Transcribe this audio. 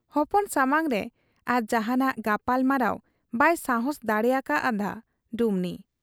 ᱦᱚᱯᱚᱱ ᱥᱟᱢᱟᱝ ᱨᱮ ᱟᱨ ᱡᱟᱦᱟᱸᱱᱟᱜ ᱜᱟᱯᱟᱞᱢᱟᱨᱟᱣ ᱵᱟᱭ ᱥᱟᱦᱟᱸᱥ ᱫᱟᱲᱮ ᱟᱠᱟ ᱦᱟᱫ ᱟ ᱰᱩᱢᱱᱤ ᱾